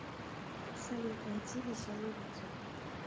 салют найти веселую музыку